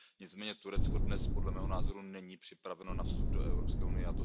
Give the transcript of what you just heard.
Nicméně Turecko dnes, podle mého názoru, není připraveno na vstup do Evropské unie.